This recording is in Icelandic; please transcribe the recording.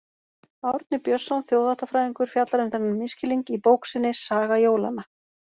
Árni Björnsson þjóðháttafræðingur fjallar um þennan misskilning í bók sinni Saga jólanna.